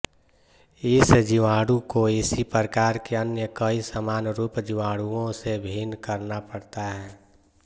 इस जीवाणु को इसी प्रकार के अन्य कई समानरूप जीवाणुओं से भिन्न करना पड़ता है